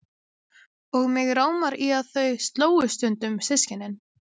Og mig rámar í að þau slógust stundum systkinin.